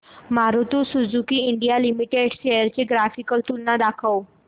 Maruti Suzuki India Limited shares ची graphical तुलना दाखव